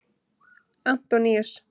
Antoníus